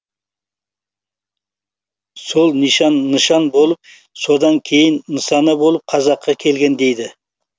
сол нишан нышан болып содан кейін нысана болып қазаққа келген дейді